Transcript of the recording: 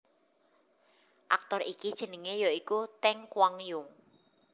Aktor iki jenengé ya iku Teng Kuang Yung